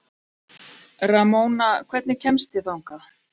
Ramóna, hvernig kemst ég þangað?